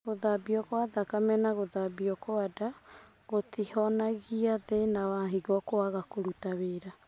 Gũthambio gwa thakame na gũthambio gwa nda gũtihonagia thĩna wa higo kwaga kũruta wĩra